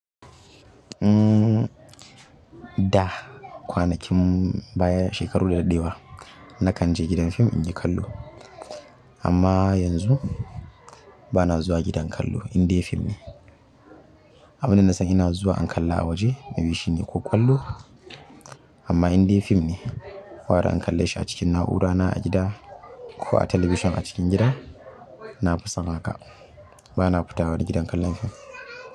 Umm, da kwanakin baya, shekaru da daɗewa nakan je gidan fim inyi kallo amma yanzu bana zuwa gidan kallo, indai fim ne. Abinda nasan ina zuwa in kalla a waje yanzu shine ko ƙwallo amma indai fim ne, gwara in kalle shi a cikin na'urana a gida ko a television a cikin gida, nafi son haka. Bana fita wani gidan kallon fim.